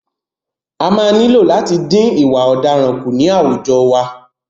A máa nílò láti dín ìwà ọ̀daràn kù ní àwùjọ wa.